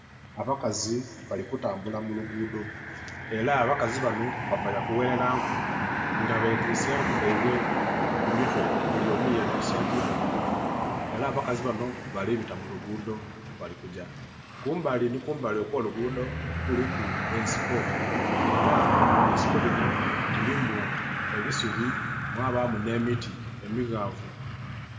Abakazi bali u tambulila mu luguudho, ela abakazi banho bava yakughelela nku. nga betise enku dhaibwe ku mitwe. Buli omu yetiise enku dhe ku mutwe ela abakazi banho bali bita mu luguudho bali kugya kumbali nhi kumbali okwoluguudho kuliku ensiko. ela esinko dhinho dhilimu ebisubi, mwabaamu nhemiiti emighavu.